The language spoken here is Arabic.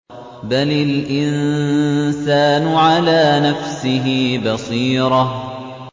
بَلِ الْإِنسَانُ عَلَىٰ نَفْسِهِ بَصِيرَةٌ